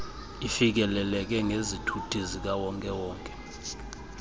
ifikeleleke ngezithuthi zikawonke